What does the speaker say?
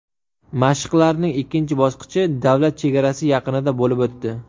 Mashqlarning ikkinchi bosqichi davlat chegarasi yaqinida bo‘lib o‘tdi.